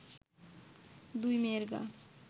দুই মেয়ের মা